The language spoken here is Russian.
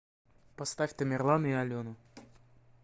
поставь тамерлана и алену